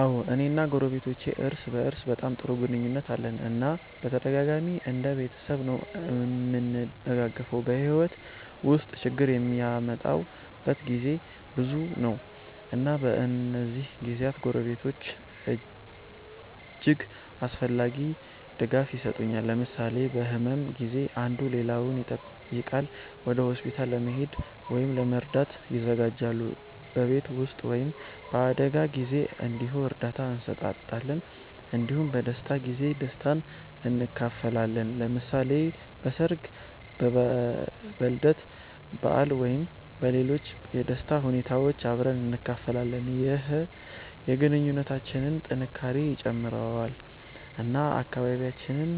አዎ፣ እኔ እና ጎረቤቶቼ እርስ በእርስ በጣም ጥሩ ግንኙነት አለን እና በተደጋጋሚ እንደ ቤተሰብ ነዉ እምንደጋገፈዉ። በሕይወት ውስጥ ችግር የሚመጣበት ጊዜ ብዙ ነው፣ እና በእነዚህ ጊዜያት ጎረቤቶች እጅግ አስፈላጊ ድጋፍ የሰጡኛል። ለምሳሌ በህመም ጊዜ አንዱ ሌላውን ይጠይቃል፣ ወደ ሆስፒታል ለመሄድ ወይም ለመርዳት ይተጋገዛሉ። በቤት ስራ ወይም በአደጋ ጊዜ እንዲሁ እርዳታ እንሰጣጣለን እንዲሁም በደስታ ጊዜ ደስታን እንካፈላለን። ለምሳሌ በሠርግ፣ በልደት በዓል ወይም በሌሎች የደስታ ሁኔታዎች አብረን እንካፈላለን። ይህ የግንኙነታችንን ጥንካሬ ይጨምራል እና አካባቢያችንን